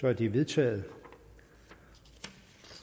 er det vedtaget